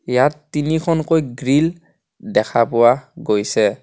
ইয়াত তিনিখনকৈ গ্ৰিল দেখা পোৱা গৈছে.